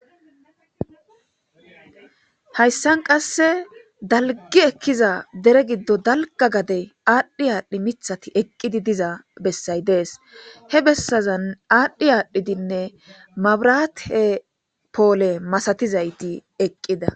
Hayssan qasse daalgi ekiza deere giddon daalga gaadde adhdhi adhdhi miththatti eqqidi diza beessay dees he beessazan adhdhi adhdhidinne maabiratte poole maastizayti eqqida.